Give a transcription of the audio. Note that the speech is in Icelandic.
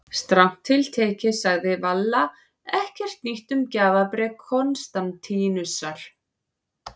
Strangt til tekið sagði Valla ekkert nýtt um gjafabréf Konstantínusar.